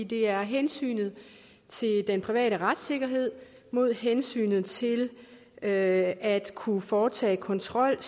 det er hensynet til den private retssikkerhed mod hensynet til at kunne foretage kontrol